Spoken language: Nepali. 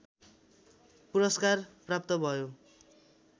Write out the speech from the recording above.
पुरस्कार प्राप्त भयो